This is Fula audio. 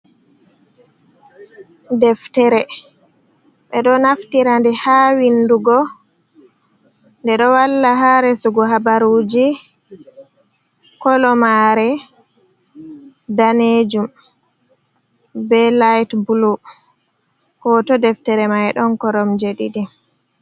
Deftere ɓeɗo naftira nde ha windugo, nde ɗo walla ha resugo habaruji, kolo mare danejum be lait bulu, hoto deftere mai ɗon koromje ɗiɗi.